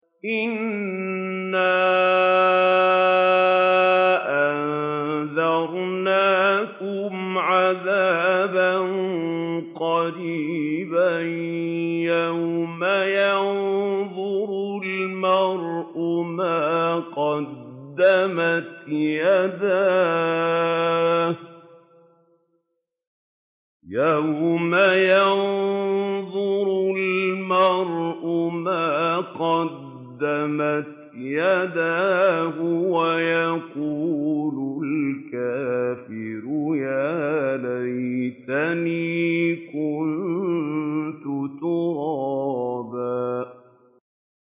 إِنَّا أَنذَرْنَاكُمْ عَذَابًا قَرِيبًا يَوْمَ يَنظُرُ الْمَرْءُ مَا قَدَّمَتْ يَدَاهُ وَيَقُولُ الْكَافِرُ يَا لَيْتَنِي كُنتُ تُرَابًا